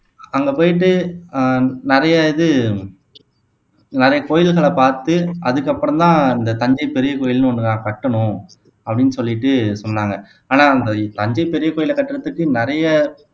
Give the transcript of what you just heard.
அங்க போயிட்டு ஆஹ் நிறைய இது நிறைய கோயில்களை பார்த்து அதுக்கப்புறம் தான் இந்த தஞ்சை பெரிய கோயில்னு ஒண்ணு நான் கட்டணும் அப்படீன்னு சொல்லிட்டு சொன்னாங்க ஆனா தஞ்சை பெரிய கோயில கட்டறதுக்கு நிறைய